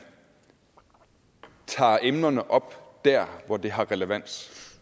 tager emnerne op der hvor det har relevans